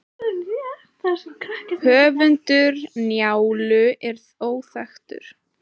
höfundur njálu er óþekktur